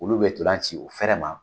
Olu bɛ ntolan ci u fɛrɛ ma .